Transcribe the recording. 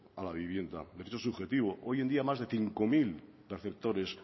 a la vivienda derecho subjetivo hoy en día más de cinco mil preceptores